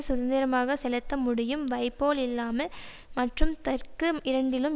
சுதந்திரமாக செலுத்த முடியும் வைப்போல் இல்லாமல் மற்றும் தெற்கு இரண்டிலும்